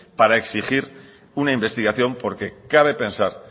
para exigir una investigación porque cabe pensar